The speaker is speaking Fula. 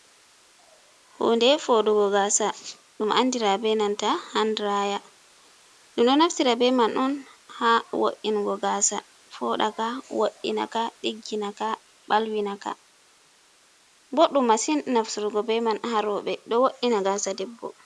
Hunde foɗugo gasa ɗum andira be nanta handiraya. Ɗum ɗo naftira be man on ha wo’ingo gasa foɗaka, woɗinaka, ɗigginaka balwi naka, boɗɗum masin naftirgo be man ha rouɓe ɗo woɗɗina gasa debbo.